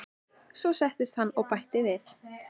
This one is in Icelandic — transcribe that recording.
Svo settist hann og bætti við